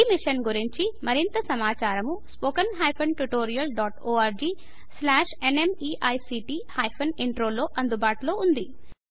ఈ మిషన్ గురించి మరింత సమాచారము spoken hyphen tutorial dot org slash nmeict hyphen intro లో అందుబాటులో ఉన్నది